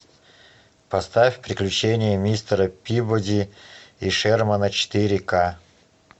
поставь приключения мистера пибоди и шермана четыре к